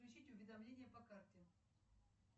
включить уведомления по карте